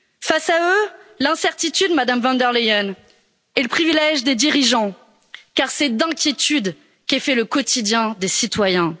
Face à eux, l'incertitude, Madame von der Leyen, est le privilège des dirigeants car c'est d'inquiétude qu'est fait le quotidien des citoyens.